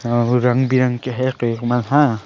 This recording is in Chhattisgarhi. अउ रंग बिरंग के हे केक मन हा --